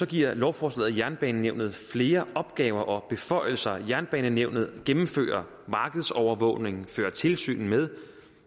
giver lovforslaget jernbanenævnet flere opgaver og beføjelser jernbanenævnet gennemfører markedsovervågning fører tilsyn med